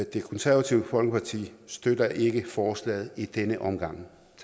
det konservative folkeparti støtter ikke forslaget i denne omgang